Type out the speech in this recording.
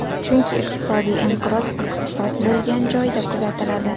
Chunki iqtisodiy inqiroz iqtisod bo‘lgan joyda kuzatiladi.